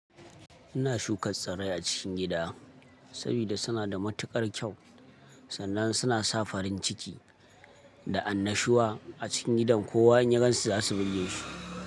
Ina shuka tsirrai a cikin gida sabida suna da matuƙar kyau. Sannan suna sa farin ciki da annashuwa a cikin gidan ko wa in ya gansu za su birge shi.